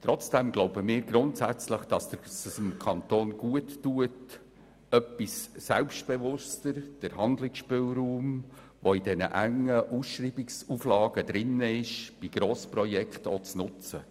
Trotzdem glauben wir grundsätzlich, dass es dem Kanton gut täte, den in den engen Ausschreibungsauflagen enthaltenen Handlungsspielraum bei Grossprojekten zu nutzen.